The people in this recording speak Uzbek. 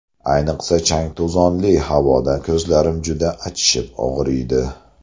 Ayniqsa, chang-to‘zonli havoda ko‘zlarim juda achishib og‘riydi.